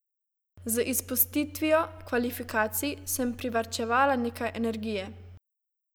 Z izpustitvijo kvalifikacij sem privarčevala nekaj energije.